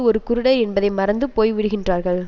ஒரு குருடர் என்பதை மறந்து போய்விடுகின்றார்கள்